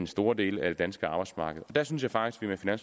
store dele af det danske arbejdsmarked der synes jeg faktisk at